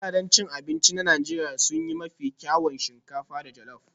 Gidajen abinci na Najeriya sun yi mafi kyawun shinkafa da jollop